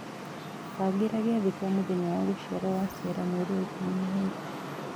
bagĩra giathĩ gia mũthenya wa gũciarwo wa Sarah Mweri wa ikũmi na ĩĩrĩ